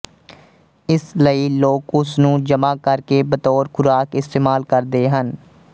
ਇਸ ਲਈ ਲੋਕ ਉਸ ਨੂੰ ਜਮਾਂ ਕਰ ਕੇ ਬਤੌਰ ਖ਼ੁਰਾਕ ਇਸਤੇਮਾਲ ਕਰਦੇ ਹਨ